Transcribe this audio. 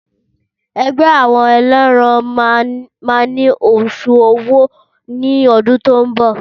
Ẹgbẹ́ àwọn eléran má ni òṣùwọn owó ní ọdún tí o nbọ